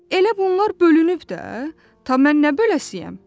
Elə bunlar bölünüb də, mən nə böləcəyəm?